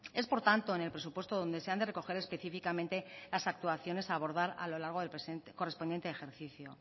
es por tanto en el presupuesto donde se han de recoger específicamente las actuaciones a abordar a lo largo del correspondiente ejercicio